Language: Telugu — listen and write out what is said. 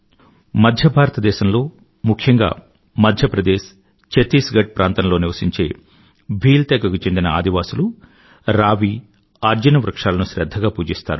మధ్య భారత దేశంలో ముఖ్యంగా మధ్య ప్రదేశ్ చత్తీస్ గఢ్ ప్రాంతంలో నివసించే భీల్ తెగకు చెందిన ఆదివాసులు రావి అర్జున వృక్షాలను శ్రధ్ధగా పూజిస్తారు